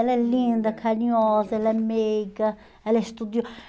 Ela é linda, carinhosa, ela é meiga, ela é